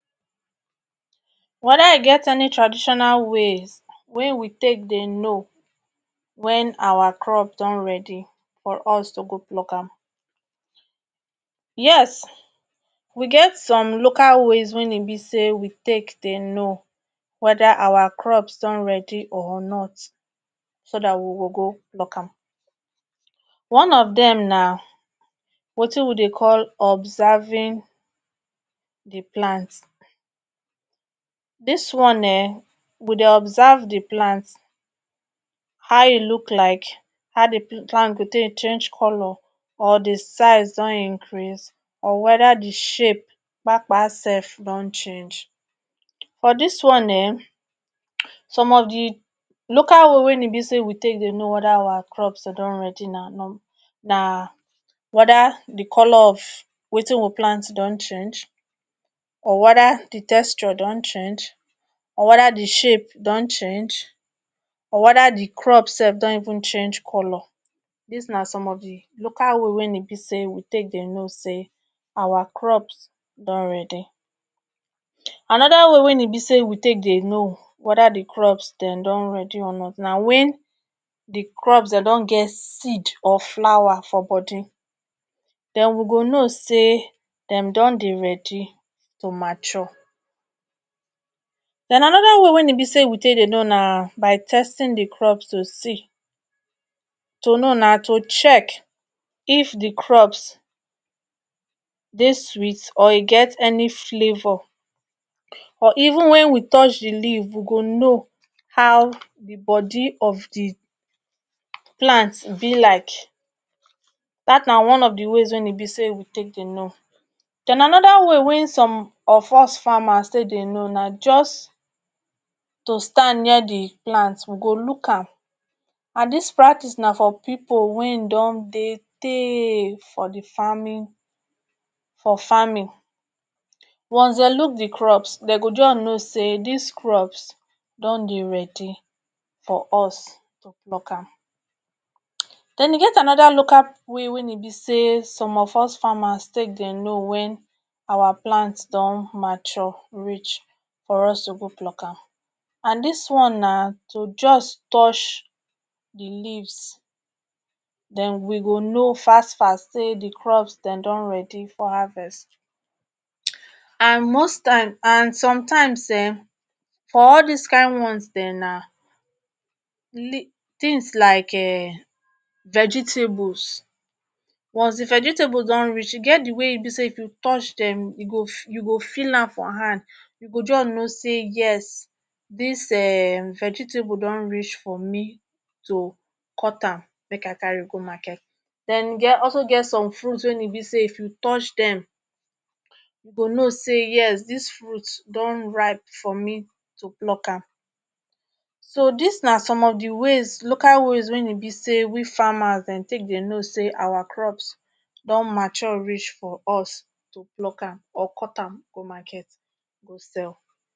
weda i get any traditional ways wey we take dey no wen our crops don ready for us to go pluck am yes we get some local ways wen e be say we take dey no weda our crops don ready or not so dat we go go pluck am one of dem na wetin we dey call observing di plant dis one um we dey observe the plant how e look like how di plants dey take change color or di size don increase or weda di shape kpakpa sef don change for dis one um some of di local way wein e be say we take dey no weda awa crops don ready na numb na weda di color of wetin we plant don change or weda di texture don change or weda di shape don change or weda di crop sef don even change color dis na some of di local way wein e be say we take dey know say awa crops don ready anoda wey wein e be say we take dey no weda di crops den don ready or not na wen di crops den don get seed or flawa for Body den we go no say dem don dey ready to mature den anoda way wein e be say we take dey no na by testing the crops to see to no na to check if di crops dey sweet or e get any flavour or ivun wen we touch di leaf we go no how di body of di plant be like dat na one of the ways wein be say we take dey no den anoda way wein some of us farmers take dey no na just to stand near di plant we go look am and dis practis na for pipo wein don dey tey for the farming for farming once de look di crops dey go just no say dis crops don dey ready for us to pluck am den e get anoda local way wein be say some of us farmers take dey know say awa plants don mature reach for us to go pluck am and dis one na to just touch the leaves den we go no fast fast say di crops den don ready for harvest and most times and sometimes um for all dis kind ones den na li tins like um vegetables once di vegetables don reach e get di way wein be say if you touch dem e go you go feel am for hand you go just no say yes dis um vegetable don reach for me to cut am make I carry go market den de also get some fruits wein be say if you touch dem you go no say yes dis fruit don ripe for me to pluck am so dis na some of di ways local ways wein be say we farmers den take dey no say awa crops don mature reach for us to pluck am or cut am go market go sell